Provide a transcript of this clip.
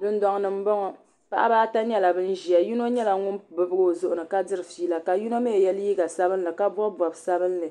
Dundoŋni m boŋɔ paɣaba ata nyɛla bin ʒia yino nyɛla ŋun bibigi o zuɣuni ka diri fiila ka yino mee ye liiga sabinli ka bobi bob'sabinli